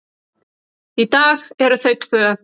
Í dag eru þau tvö.